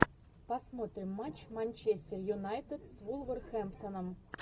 посмотрим матч манчестер юнайтед с вулверхэмптоном